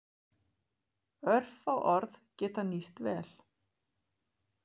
Örfá orð geta nýst vel.